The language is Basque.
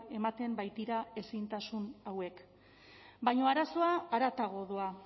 ematen baitira ezintasun hauek baina arazoa haratago doa